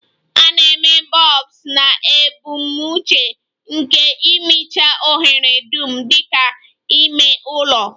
A na-eme bulbs na ebumnuche nke ịmịcha ohere dum dị ka ime ụlọ